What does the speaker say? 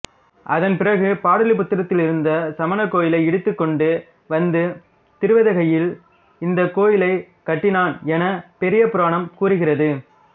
அதன்பிறகு பாடலிபுத்திரத்திலிருந்த சமண கோயிலை இடித்துக் கொண்டு வந்து திருவதிகையில் இந்தக் கோயிலைக் கட்டினான் எனப் பெரிய புராணம் கூறுகிறது